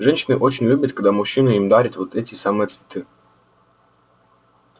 женщины очень любят когда мужчины им дарят вот эти самые цветы